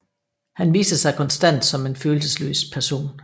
Han viste sig konstant som en følelsesløs person